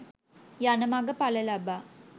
යන මග ඵල ලබා